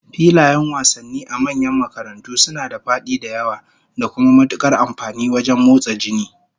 Filayen wasannin a manyan makarantu suna da fadi da yawa, da kuma matukar amfani wajen motsa jini